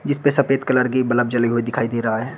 जीसपे सफेद कलर की बलब जले हुए दिखाई दे रहा है।